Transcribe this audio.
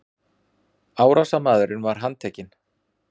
Árásarmaðurinn var handtekinn